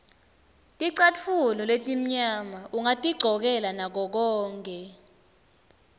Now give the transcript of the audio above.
ticatfulo letimnyama ungatigcokela ngakokonkhe